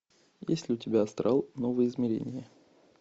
есть ли у тебя астрал новое измерение